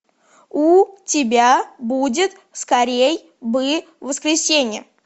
у тебя будет скорей бы воскресенье